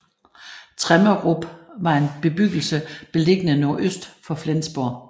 Tremmerup var en bebyggelse beliggende nordøst for Flensborg